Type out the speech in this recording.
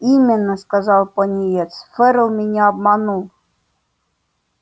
именно сказал пониетс ферл меня обманул